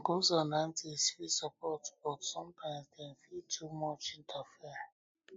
uncles and aunties fit support you but sometimes dem fit too much interfere